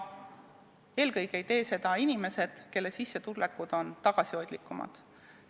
Eelkõige ei tee seda inimesed, kelle sissetulekud on tagasihoidlikumad.